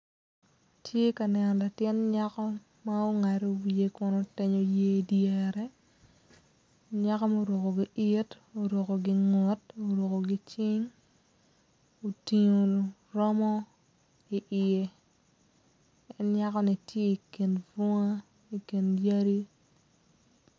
Atye ka neno latin nyako ma ongado wiye kun otenyo yer idyere nyako muruko gi-it, oruko gingut oruko gicing otingo romo i iye en nyako-ni tye ikin bunga ikin yadi.